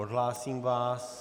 Odhlásím vás.